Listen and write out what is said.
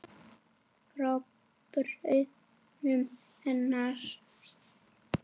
Frá bræðrum hennar í